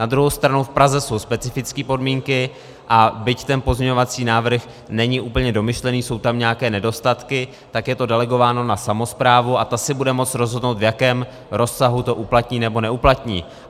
Na druhou stranu v Praze jsou specifické podmínky, a byť ten pozměňovací návrh není úplně domyšlený, jsou tam nějaké nedostatky, tak je to delegováno na samosprávu a ta si bude moci rozhodnout, v jakém rozsahu to uplatní nebo neuplatní.